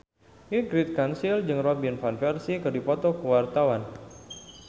Ingrid Kansil jeung Robin Van Persie keur dipoto ku wartawan